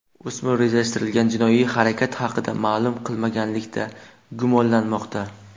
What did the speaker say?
O‘smir rejalashtirilgan jinoiy harakat haqida ma’lum qilmaganlikda gumonlanmoqda.